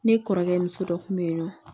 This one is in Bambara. Ne kɔrɔkɛ muso dɔ kun be yen nɔ